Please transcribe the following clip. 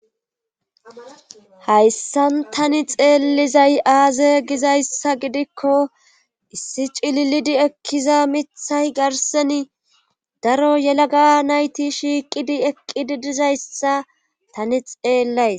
hayssan tani xeellizay aaze gizayssa gidikko issi cililidi ekkiza mithay garseni daro yelaga nayti shiiqidi eqqidi dizayssa tani xeellays